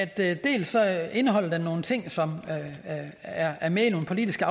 det dels indeholder nogle ting som er er med i nogle politiske